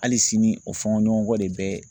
Hali sini o fɔɲɔgɔnkɔ de bɛ.